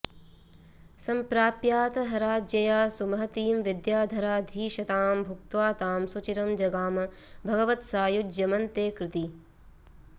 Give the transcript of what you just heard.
सम्प्राप्याथ हराज्ञया सुमहतीं विद्याधराधीशताम् भुक्त्वा तां सुचिरं जगाम भगवत्सायुज्यमन्ते कृती